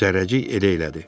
Zərrəcik elə elədi.